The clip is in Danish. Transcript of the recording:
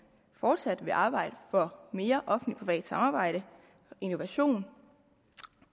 fortsat vil arbejde for mere offentlig privat samarbejde innovation